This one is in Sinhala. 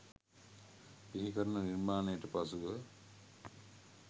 බිහිකරන නිර්මාණයට පසුව